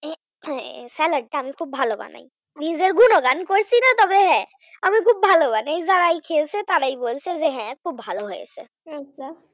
salad টা আমি খুব ভালো বানাই নিজের গুণগান করছি না তবে হ্যাঁ আমি খুব ভালো বানায় যারা খেয়েছে তারাই বলছে হ্যাঁ খুব ভালো হয়েছে,